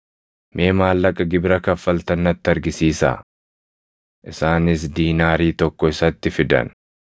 Mee maallaqa gibira kaffaltan natti argisiisaa.” Isaanis diinaarii tokko isatti fidan;